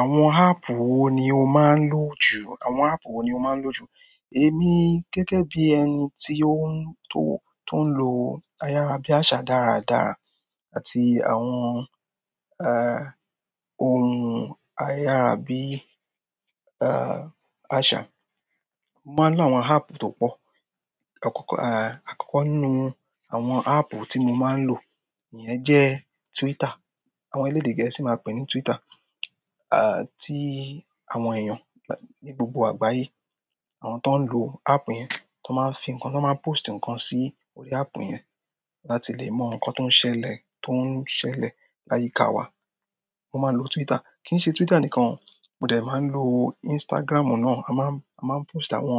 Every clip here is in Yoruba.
Àwọn áàpù wo ni o máa ń lò jù? Àwọn áàpù wo ni o máa ń lò jù? Èmi gẹ́gẹ́ bí ẹni tó ń lo ayára bí àṣà dáradára àti àwọn, ohun ayára bí àṣà, mo máa ń lo àwọn áàpù tó pọ̀. Àkọ́kọ́ nínú àwọn áàpù tí mo máa ń lò iyẹn jẹ́ Twitter. Àwọn elédè gẹ̀ẹ́sì máa pè é ní Twitter. Tí àwọn èèyàn ní gbogbo àgbáyé, àwọn tó ń lo áàpù yẹn tó máa ń fi nǹkan tó máa ń pósìtì nǹkan sí orí áàpù yẹn láti lè mọ nǹkan tó ń ṣẹlẹ̀, tó ń ṣẹlẹ̀ láyíká wa. Mo máa ń lo Twitter. Kì í ṣe Twitter nìkan, mo dẹ̀ máa ń lo Instagram náà. A máa ń post àwọn,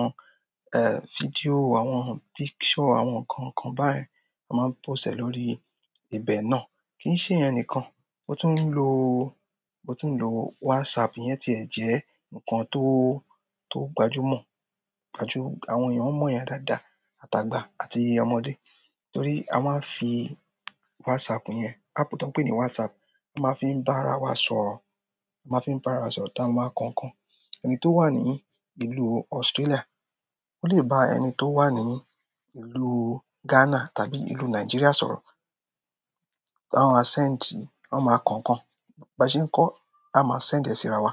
fídíò, àwọn picture, àwọn nǹkan kan báyen a máa ń post e lórí ibẹ̀ náà. Kì í ṣe ìyẹn nìkan, mo tún ń lo WhatsApp iyẹn tí ẹ jẹ́ nǹkan tó gbajúmọ̀. Àwọn èèyàn mọ̀ iyen dáadáa, àtàgbà àti ọmọdé. Torí a máa ń fi WhatsApp yẹn, áàpù tó ń pè ní WhatsApp, a máa ń fi bá ara wa sọ̀rọ̀, a máa ń fi bá ara sọ̀rọ̀ táa máa ń kọ ń kọ. Ẹni to wa ni ìlú Australia o le ba ẹni to wa ni ìlú Ghana tàbí ìlú Nigeria sọ̀rọ̀ a maa send, amáa kọ ikan. Ba ṣe nkọ a maa send e si rawa,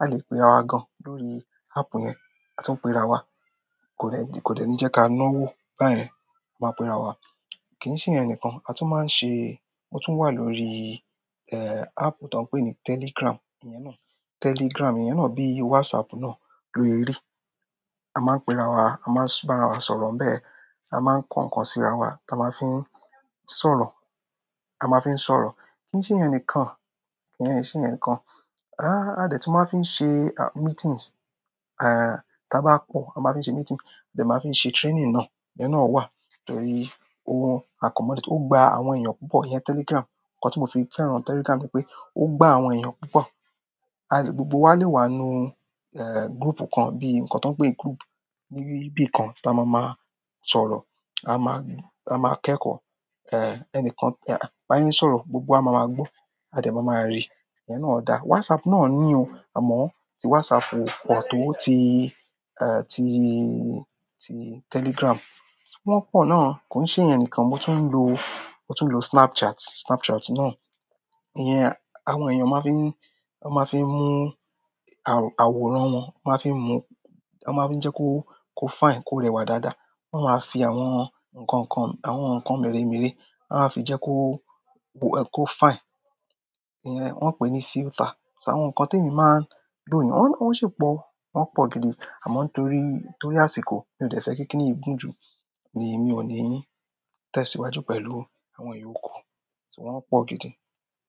a le pe rawa gan lórí app yen, a tún pe rawa kò de ní jẹ́ kí a náwó báyen, a máa pe ra wa. Kì í ṣe ìyẹn nìkan, a tún máa ń ṣe-- ó tún wà lórí áàpù tó ń pè ní Telegram. Ìyẹn náà, Telegram, ìyẹn náà bíi WhatsApp náà, ló se ri. A máa ń pe rawa, a máa ń bá rawa sọ̀rọ̀ ń bẹ, a máa ń kọ ń kọ sí rawa táa máa ń fi ń sọ̀rọ̀, a máa ń fi ń sọ̀rọ̀. Kì í ṣe ìyẹn nìkan, kì í ṣe ìyẹn nìkan. A dẹ̀ tun máa ń fi ṣemeetings. Ta bá pọ́, a máa ń fi ṣe meeting, a dẹ̀ máa ń fi ṣe training náà, ìyẹn náà wà. Torí o accommodate, ó gba àwọn èèyàn púpọ̀, ìyẹn Telegram. Ǹnkan tí mo fi fẹ́ràn Telegram ni pé ó gba àwọn èèyàn púpọ̀. Gbogbo wa lè wà ínú group kan bíi nǹkan tó ń pè group níbí kan tá máa máa sọ̀rọ̀. A máa kẹ́kọ̀ọ́. Ẹni kan bá sẹ́ sọ̀rọ̀, gbogbo wa máa máa gbọ́, a dẹ̀ máa maa rí. Ìyẹn náà dáa. WhatsApp náà ní o, àmọ́ tí WhatsApp ò pọ̀ tó ó ti Telegram. Wọ́n pọ̀ náà. Kò i ṣe ìyẹn nìkan, mo tún ń lo Snapchat. Snapchat náà, ìyẹn, àwọn èèyàn máa ń fi mú àwòrán wọn, wọn máa ń fi mú, wọ́n máa ń fi jẹ́ kó fine, kó rẹwà dáadáa. Wọ́n máa ń fi àwọn nǹkan kan, àwọn nǹkan mẹ́remere, wọ́n á fi jẹ́ kó fine. Ìyẹn wọ́n pè ní filter. Ṣé àwọn nǹkan tí èmi máa ń lo nìyẹn, wọ́n sì pọ̀, wọ́n pọ̀ gidi. Àmọ́ torí àsìkò mi ò de fẹ́ kíni yìí gùn jù ni èmi ò ní tẹ̀síwájú pẹ̀lú àwọn ìyòkù, ṣùgbọ́n wọ́n pọ̀ gidi.